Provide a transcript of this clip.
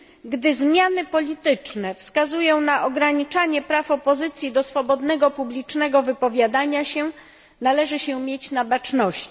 Gdy zmiany polityczne wskazują na ograniczanie praw opozycji do swobodnego publicznego wypowiadania się, należy się mieć na baczności.